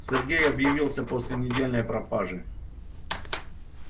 сергей объявился после недельной пропажи